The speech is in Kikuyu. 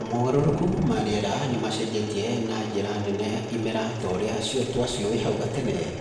Mogarũrũku ma rĩera, nĩ macenjetie na njĩra nene imera ta ũrĩa twaciũĩ hau gatene.